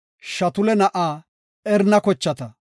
Shutula na7aa Erana kochata.